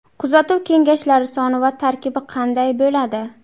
Kuzatuv kengashlari soni va tarkibi qanday bo‘ladi?